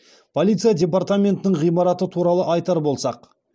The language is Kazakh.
полиция департаментінің ғимараты туралы айтар болсақ